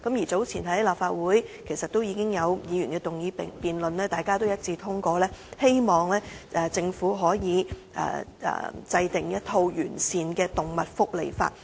早前已有立法會議員動議議案辯論，而大家亦一致通過議案，希望政府制定完善的動物福利法。